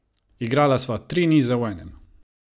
Igrala sva tri nize v enem!